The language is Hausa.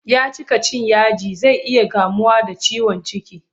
Ya cika cin yaji zai iya kamuwa da ciwon ciki.